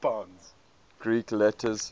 greek letters